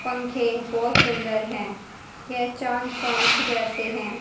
पंखे बहोत सुंदर है ये चांद पंख जैसे है।